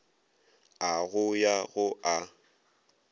a go ya go a